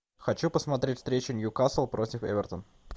хочу посмотреть встречу ньюкасл против эвертон